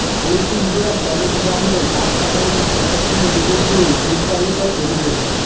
Alipurduar parade গ্রাউন্ডে গাছ কাটা নিয়ে প্রশাসনের বিরুদ্ধেই দ্বিচারিতার অভিযোগ